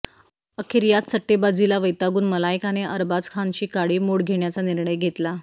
अखेर याच सट्टेबाजीला वैतागून मलायकाने अरबाज खानशी काडीमोड घेण्याचा निर्णय घेतला